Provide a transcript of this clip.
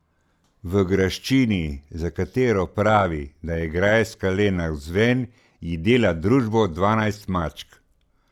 V graščini, za katero pravi, da je grajska le navzven, ji dela družbo dvanajst mačk.